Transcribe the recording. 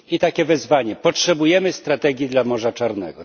I takie wezwanie potrzebujemy strategii dla Morza Czarnego.